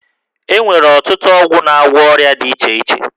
E nwere ọtụtụ ọgwụ na-agwọ ọrịa dị iche iche